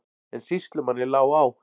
En sýslumanni lá á.